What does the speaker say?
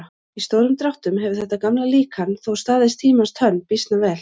Í stórum dráttum hefur þetta gamla líkan þó staðist tímans tönn býsna vel.